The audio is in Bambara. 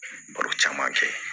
Baro caman kɛ